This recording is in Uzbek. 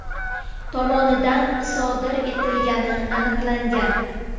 tomonidan sodir etilgani aniqlangan.